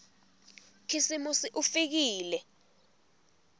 khisimusi ufikile